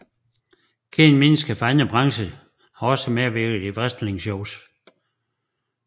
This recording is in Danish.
Kendte mennesker fra andre brancher har også medvirket i wrestlingshows